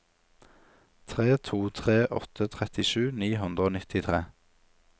tre to tre åtte trettisju ni hundre og nittitre